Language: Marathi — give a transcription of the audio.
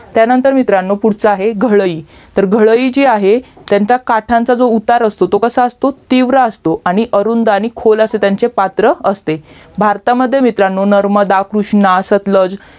त्यानंतर मित्रांनो पुढचा आहे घळई तर घळईजी आहे त्यांचा काठाचा उतार असतो तो कसं असतो तीव्र असतो आणि अरुंद आणि खोल असा त्यांचे पात्र असते भारतामध्ये मित्रांनो नर्मदा कृष्णा सतलज